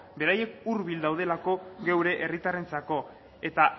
beraiek hurbil daudelako gure herritarrentzako eta